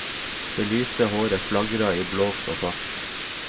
Det lyse håret flagra i blåst og fart.